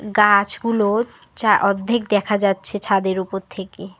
গাছগুলোর চা অর্ধেক দেখা যাচ্ছে ছাদের ওপর থেকে।